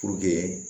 Puruke